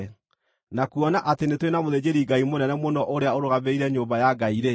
na kuona atĩ nĩ tũrĩ na mũthĩnjĩri-Ngai mũnene mũno ũrĩa ũrũgamĩrĩire nyũmba ya Ngai-rĩ,